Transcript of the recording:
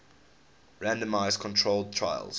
randomized controlled trials